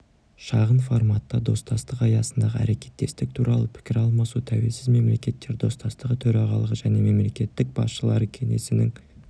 шағын форматта достастық аясындағы әрекеттестік туралы пікір алмасу тәуелсіз мемлекеттер достастығы төрағалығы және мемлекет басшылары кеңесінің